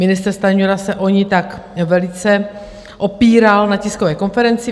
Ministr Stanjura se o ni tak velice opíral na tiskové konferenci.